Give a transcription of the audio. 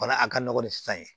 Bana a ka nɔgɔn ni san ye